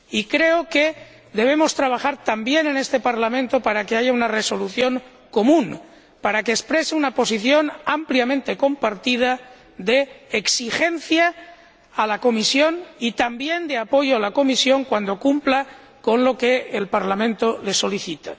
Creo que debemos trabajar también en este Parlamento para que haya una resolución común que exprese una posición ampliamente compartida de exigencia a la Comisión y también de apoyo a la Comisión cuando cumpla con lo que el Parlamento le solicite.